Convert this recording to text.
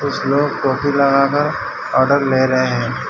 कुछ लोग टोपी लगाकर आर्डर ले रहे हैं।